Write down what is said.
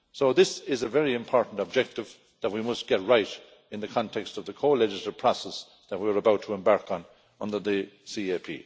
This is a very important objective that we must get right in the context of the co legislative process that we are about to embark on under the CAP.